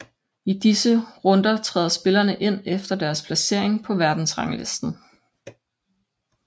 I disse runder træder spillerne ind efter deres placering på verdensranglisten